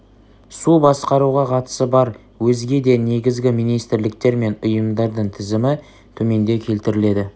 су басқаруға қатысы бар өзге де негізгі министрліктер мен ұйымдардың тізімі төменде келтіріледі